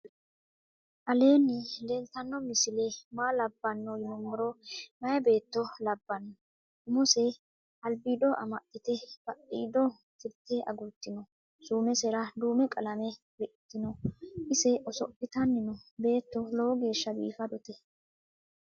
aleni leltano misile maa labano yiinumoro. mayibeto labano. umose se albido amaxite badhido tirte agurtinoo. sumesera dume qalame riqitino ise oso'litani noo. beeto loowo gesha bifadote.